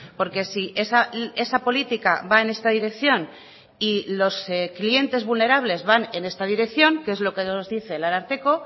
porque si esa política va en esta dirección y los clientes vulnerables van en esta dirección que es lo que nos dice el ararteko